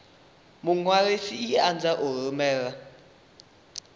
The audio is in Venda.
muṅwalisi i anzela u rumela